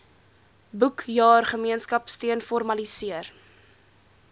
boekjaar gemeenskapsteun formaliseer